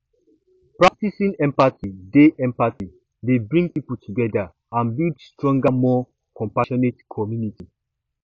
practicing empathy dey empathy dey bring people together and build stronger more compassionate community